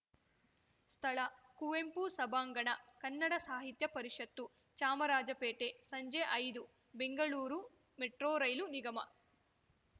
ಸ್ಥಳ ಕುವೆಂಪು ಸಭಾಂಗಣ ಕನ್ನಡ ಸಾಹಿತ್ಯ ಪರಿಷತ್ತು ಚಾಮರಾಜಪೇಟೆ ಸಂಜೆ ಐದು ಬೆಂಗಳೂರು ಮೆಟ್ರೋ ರೈಲು ನಿಗಮ